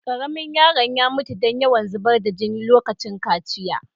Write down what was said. Karemin yarinyan ta mutu dan yawn zubar da jina lokacin kaciyan.